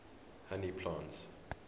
honey plants